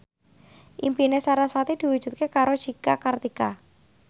impine sarasvati diwujudke karo Cika Kartika